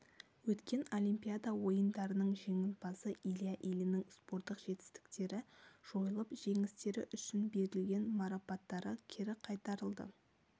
өткен олимпиада ойындарының жеңімпазы илья ильиннің спорттық көрсеткіштері жойылып жеңістері үшін берілген марапаттары кері қайтарылды